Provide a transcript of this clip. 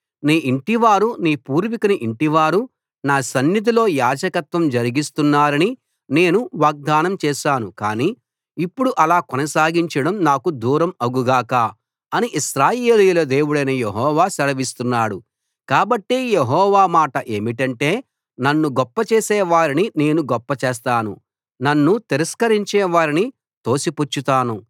నీ ఇంటివారు నీ పూర్వికుని ఇంటివారు నా సన్నిధిలో యాజకత్వం జరిగిస్తారని నేను వాగ్దానం చేశాను కానీ ఇప్పుడు అలా కొనసాగించడం నాకు దూరం అగు గాక అని ఇశ్రాయేలీయుల దేవుడైన యెహోవా సెలవిస్తున్నాడు కాబట్టి యెహోవా మాట ఏమిటంటే నన్ను గొప్ప చేసేవారిని నేను గొప్పచేస్తాను నన్ను తిరస్కరించేవారిని తోసిపుచ్చుతాను